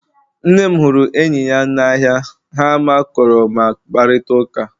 Nne m huru enyi ya n'ahịa ha makụrụ ma kparịta ụka